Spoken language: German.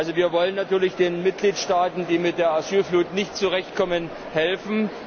Also, wir wollen natürlich den Mitgliedstaaten, die mit der Asylflut nicht zurechtkommen, helfen.